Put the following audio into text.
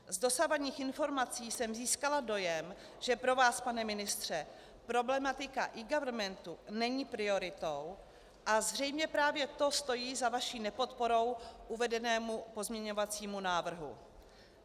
Z dosavadních informací jsem získala dojem, že pro vás, pane ministře, problematika eGovernmentu není prioritou, a zřejmě právě to stojí za vaší nepodporou uvedenému pozměňovacímu návrhu.